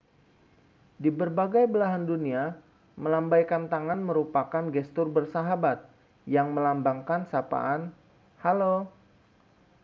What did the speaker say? di berbagai belahan dunia melambaikan tangan merupakan gestur bersahabat yang melambangkan sapaan halo